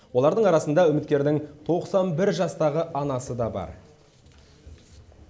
олардың арасында үміткердің тоқсан бір жастағы анасы да бар